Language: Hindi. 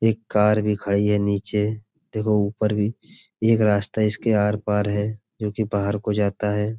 एक कार भी खड़ी है नीचे देखो ऊपर भी एक रास्ता इसके आर-पार है। जो कि बाहर को जाता है।